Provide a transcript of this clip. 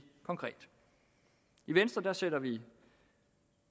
konkret i venstre sætter vi